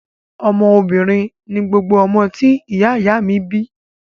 Ọmọ obìnrin ni gbogbo ọmọ tí ìyá ìyá a mi bi